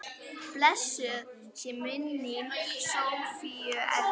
Blessuð sé minning Sofíu Erlu.